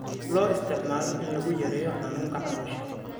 Loo isticmaalo in lagu yareeyo xanuunka caloosha.